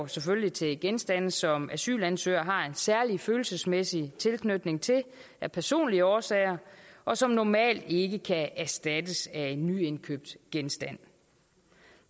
selvfølgelig til genstande som asylansøgerne har en særlig følelsesmæssig tilknytning til af personlige årsager og som normalt ikke kan erstattes af en nyindkøbt genstand